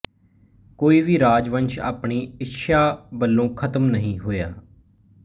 ਕੋਈ ਵੀ ਰਾਜਵੰਸ਼ ਆਪਣੀ ਇੱਛਿਆ ਵਲੋਂ ਖ਼ਤਮ ਨਹੀਂ ਹੋਇਆ